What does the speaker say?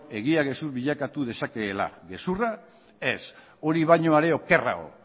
egia gezur bilakatu dezakeela gezurra ez hori baino are okerrago